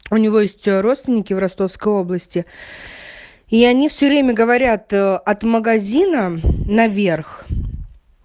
у него есть родственники в ростовской области и они все время говорят от магазина наверх